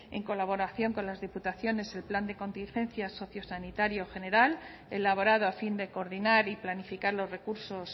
en colaboración con las diputaciones el plan de contingencia sociosanitario general elaborado a fin de coordinar y planificar los recursos